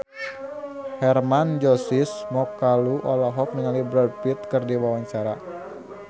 Hermann Josis Mokalu olohok ningali Brad Pitt keur diwawancara